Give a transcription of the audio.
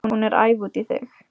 Hún er æf út í þig.